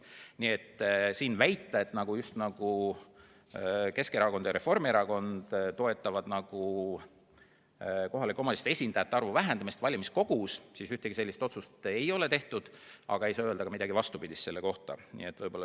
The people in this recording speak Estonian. Nii et väita, just nagu Keskerakond ja Reformierakond toetaksid kohalike omavalitsuste esindajate arvu vähendamist valimiskogus – ühtegi sellist otsust ei ole tehtud, aga ei saa öelda ka midagi vastupidist.